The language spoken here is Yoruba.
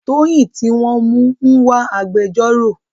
Toyin tí wọ́n mú ń wá agbẹjọ́rò.